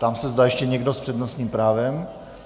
Ptám se, zda ještě někdo s přednostním právem.